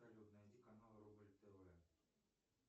салют найди канал рубль тв